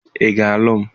Ị ga-alụ m?